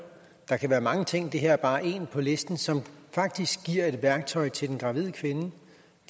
der kan være mange ting det her er bare en på listen som faktisk giver et værktøj til den gravide kvinde